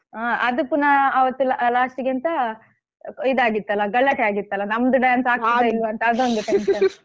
ಹಾ ಅದು ಪುನಃ ಅವತ್ತೆಲ್ಲ ಅಹ್ last ಗೆ ಎಂತ ಇದ್ದಾಗಿತ್ತಲ್ಲ ಗಲಾಟೆ ಆಗಿತ್ತಲ್ಲ ನಮ್ದು dance ಆಗ್ತದಾ ಇಲ್ವಾ ಅಂತ ಅದೊಂದು tension